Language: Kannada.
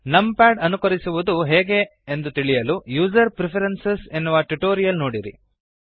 ನಮ್ ಪ್ಯಾಡ್ ಅನುಕರಿಸುವದು ಹೇಗೆ ಎಂದು ತಿಳಿಯಲು ಯುಸರ್ Preferencesಯೂಸರ್ ಪ್ರಿಫರೆನ್ಸಿಸ್ ಎನ್ನುವ ಟ್ಯುಟೋರಿಯಲ್ ನೋಡಿರಿ